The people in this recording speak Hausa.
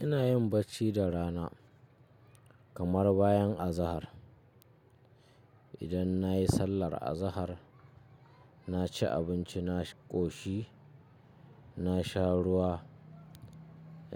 Ina yin bacci da rana kamar bayan azahar. Idan nayi sallar azahar, na ci abinci, na ƙoshi, na sha ruwa,